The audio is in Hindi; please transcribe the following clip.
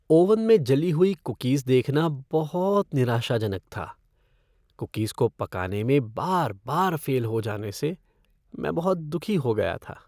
ओवन में जली हुई कुकीज़ देखना बहुत निराशाजनक था। कुकीज़ को पकाने में बार बार फ़ेल हो जाने से मैं बहुत दुखी हो गाया था।